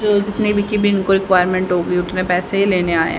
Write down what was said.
जो जितने भी की रिक्वायरमेंट होगी उतने पैसे ये लेने आए--